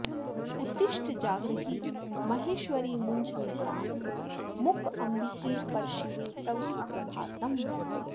उत्तिष्ठ जागृहि महेश्वरि मुञ्च निद्रां मूकाम्बिके परशिवे तव सुप्रभातम्